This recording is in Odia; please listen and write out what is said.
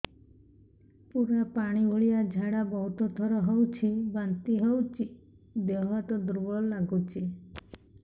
ପୁରା ପାଣି ଭଳିଆ ଝାଡା ବହୁତ ଥର ହଉଛି ବାନ୍ତି ହଉଚି ଦେହ ହାତ ଦୁର୍ବଳ ଲାଗୁଚି